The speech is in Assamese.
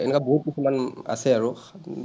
এনেকুৱা বহুত কিছুমান আছে আৰু।